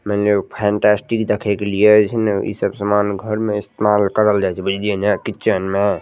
मने उ फैंटास्टिक देखे के लीएइ जै न इस सब समान घर में इस्तेमाल करल जाय छै बुझलिए न किचन में --